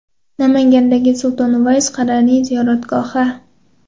Namangandagi Sulton Uvays Qaraniy ziyoratgohi .